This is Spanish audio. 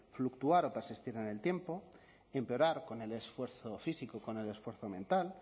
fluctuar o persistir en el tiempo empeorar con el esfuerzo físico y con el esfuerzo mental